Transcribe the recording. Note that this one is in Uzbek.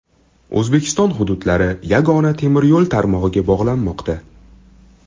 O‘zbekiston hududlari yagona temir yo‘l tarmog‘iga bog‘lanmoqda.